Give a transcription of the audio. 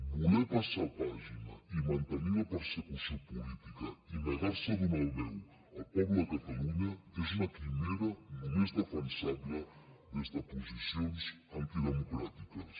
voler passar pàgina i mantenir la persecució política i negar se a donar veu al poble de catalunya és una quimera només defensable des de posicions antidemocràtiques